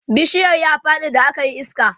bishiyar ya Faɗi da akayi iska